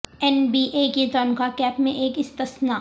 N B A کی تنخواہ cap میں ایک استثنا